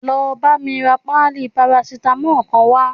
Lọ bámi ra páálí paracetamol kan wá